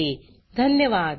सहभागासाठी धन्यवाद